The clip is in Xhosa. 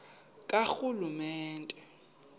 karhulumente